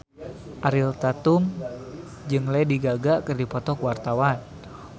Ariel Tatum jeung Lady Gaga keur dipoto ku wartawan